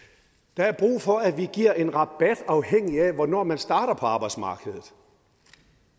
der er brug for at vi giver en rabat afhængigt af hvornår man starter på arbejdsmarkedet